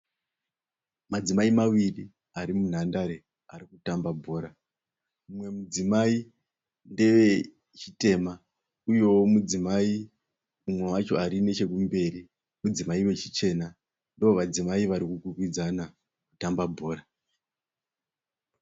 Madzimai maviri ari munhandare ari kutamba bhora. Mumwe mudzimai ndewe chitema uyewo mudzimai mumwe wacho ari nechokukumberi. Ivo vadzimai vari kukwikwidzana kutamba bhora.